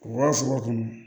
U ka sogo kɔnɔ